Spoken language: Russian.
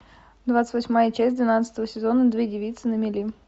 двадцать восьмая часть двенадцатого сезона две девицы на мели